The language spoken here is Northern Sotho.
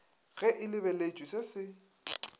ge e lebeletšwe se se